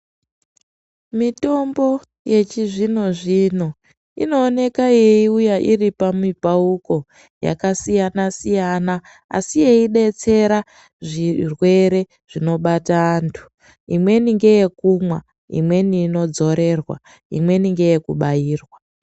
Mitombo yechizvino-zvino inooneka yeiuya iri pamipauko yakasiyana -siyana asi yeidetsera zvirwere zvinobata antu, imweni ngeyekumwa imweni inodzorerwa imweni ngeyekubairwa.